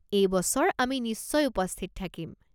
এই বছৰ আমি নিশ্চয় উপস্থিত থাকিম।